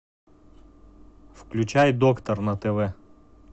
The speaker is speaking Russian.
включай доктор на тв